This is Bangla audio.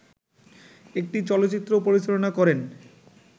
একটি চলচ্চিত্র পরিচালনা করেন